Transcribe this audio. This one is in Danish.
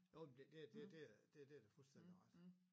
Jo men det det det det det har da fuldstændig ret